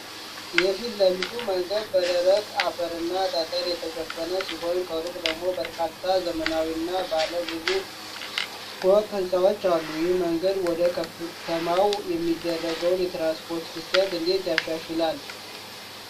የፊት ለፊቱ መንገድ በደረቅ አፈርና ጠጠር የተሸፈነ ሲሆን፣ ከሩቅ ደግሞ በርካታ ዘመናዊና ባለ ብዙ ፎቅ ሕንፃዎች አሉ። ይህ መንገድ ወደ ከተማዋ የሚደረገውን የትራንስፖርት ፍሰት እንዴት ያሻሽላል?